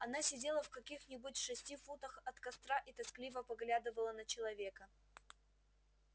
она сидела в каких нибудь шести футах от костра и тоскливо поглядывала на человека